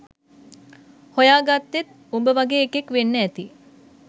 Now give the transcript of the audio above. හොයාගත්තෙත් උඹ වගේ එකෙක් වෙන්න ඇති